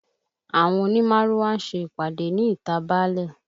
Àwọn òní márúwá ń ṣe ìpàdé ní ìta báálẹ̀